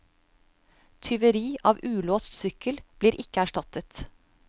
Tyveri av ulåst sykkel blir ikke erstattet.